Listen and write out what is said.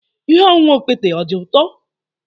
Ihe ọṅụṅụ okpete ọ dị ụtọ?